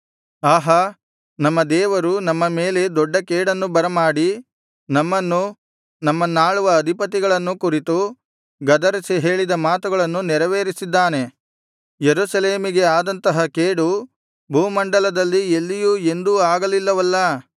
ಆಹಾ ನಮ್ಮ ದೇವರು ನಮ್ಮ ಮೇಲೆ ದೊಡ್ಡ ಕೇಡನ್ನು ಬರಮಾಡಿ ನಮ್ಮನ್ನೂ ನಮ್ಮನ್ನಾಳುವ ಅಧಿಪತಿಗಳನ್ನೂ ಕುರಿತು ಗದರಿಸಿ ಹೇಳಿದ ಮಾತುಗಳನ್ನು ನೆರವೇರಿಸಿದ್ದಾನೆ ಯೆರೂಸಲೇಮಿಗೆ ಆದಂತಹ ಕೇಡು ಭೂಮಂಡಲದಲ್ಲಿ ಎಲ್ಲಿಯೂ ಎಂದೂ ಆಗಲಿಲ್ಲವಲ್ಲಾ